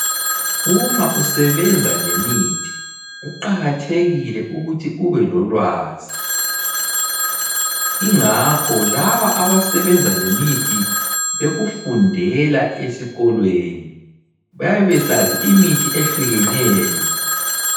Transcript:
Uma usebenza lemithi kuqakathekile ukuthi ubelolwazi, ingakho laba abasebenza lemithi bekufundela esikolweni, bayabe besazi imithi ehlukeneyo.